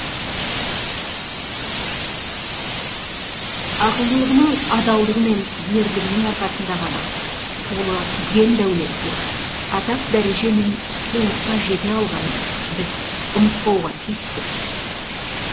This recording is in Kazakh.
ақылдылығының адалдығы мен ерлігінің арқасында ғана қолы ен дәулетке атақ дәреже мен сұлулыққа жете алғанын біз ұмытпауға тиістіміз